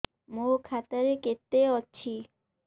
ମୋ ଖାତା ରେ କେତେ ଅଛି